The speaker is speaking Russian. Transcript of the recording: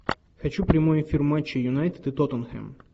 хочу прямой эфир матча юнайтед и тоттенхэм